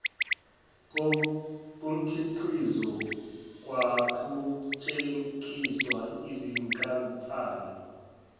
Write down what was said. komkhiqizo kwaqhutshekiswa yizinkampani